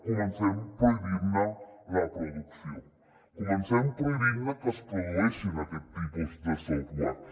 comencem prohibint ne la producció comencem prohibint que es produeixin aquests tipus de software